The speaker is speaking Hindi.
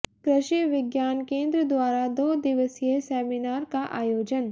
कृषि विज्ञान केन्द्र द्वारा दो दिवसीय सेमिनार का आयोजन